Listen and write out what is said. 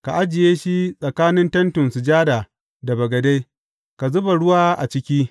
Ka ajiye shi tsakanin Tentin Sujada da bagade, ka zuba ruwa a ciki.